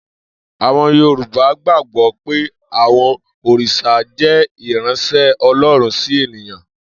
Àwo̩n Yorùbá gbàgbó̩ pé àwo̩n òrìs̩à jé̩ ìráns̩é̩ O̩ló̩run sí ènìyan